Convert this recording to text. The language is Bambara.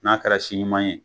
N'a kɛra si ɲuman ye